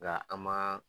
Nka an ma